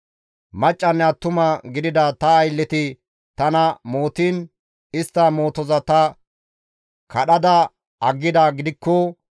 «Maccanne attuma gidida ta aylleti tana mootiin istta mootoza ta kadhada aggidaa gidikko,